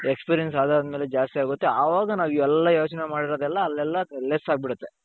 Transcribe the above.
experience ಆದರದ್ಮೇಲೆ ಜಾಸ್ತಿ ಆಗುತ್ತೆ ಆವಾಗ ನಾವಿವೆಲ್ಲ ಯೋಚನೆ ಮಾಡಿರೋದೆಲ್ಲಾ ಅಲ್ಲೆಲ್ಲಾ less ಆಗ್ಬಿಡುತ್ತೆ.